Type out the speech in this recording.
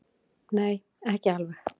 Nei, ekki alveg.